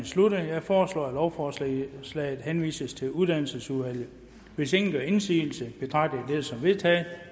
sluttet jeg foreslår at lovforslaget henvises til uddannelsesudvalget hvis ingen gør indsigelse betragter jeg det som vedtaget